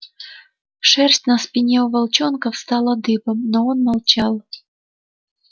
шерсть на спине у волчонка встала дыбом но он молчал